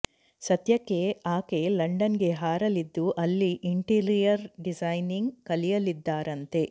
ಸದ್ಯಕ್ಕೆ ಆಕೆ ಲಂಡನ್ಗೆ ಹಾರಲಿದ್ದು ಅಲ್ಲಿ ಇಂಟೀರಿಯರ್ ಡಿಸೈನಿಂಗ್ ಕಲಿಯಲಿದ್ದಾರಂತೆ